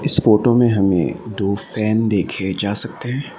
इस फोटो में हमे दो फैन देखे जा सकते हैं।